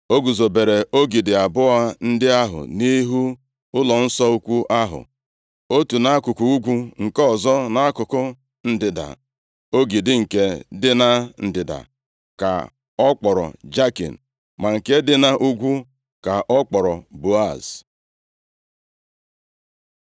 O guzobere ogidi abụọ ndị ahụ nʼihu ụlọnsọ ukwu ahụ, otu nʼakụkụ ugwu nke ọzọ nʼakụkụ ndịda. Ogidi nke dị na ndịda ka ọ kpọrọ Jakin, ma nke dị nʼugwu ka ọ kpọrọ Boaz.